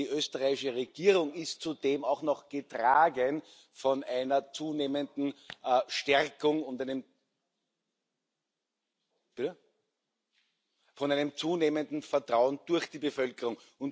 Und die österreichische Regierung ist zudem auch noch getragen von einer zunehmenden Stärkung und von einem zunehmenden Vertrauen durch die Bevölkerung.